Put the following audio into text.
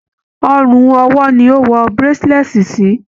Ọrùn ọwó ni a n wọ bracelet si.